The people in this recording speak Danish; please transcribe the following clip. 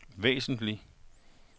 væsentlig